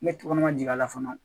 Ne tɔgɔ ma jia la fɔlɔ